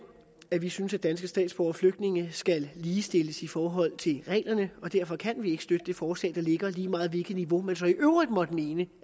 at vi synes at danske statsborgere og flygtninge skal ligestilles i forhold til reglerne derfor kan vi ikke støtte det forslag der ligger her lige meget hvilket niveau man så i øvrigt måtte mene